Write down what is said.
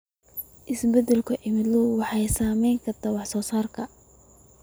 Isbeddelka cimiladu waxay saameyn kartaa wax soo saarka.